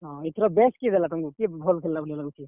ହଁ, ଇଥର best କିଏ ଦେଲା ତମ୍ କୁ, best କିଏ ଭଲ୍ ଖେଲ୍ ଲା ଭଲିଆ ଲାଗୁଛେ?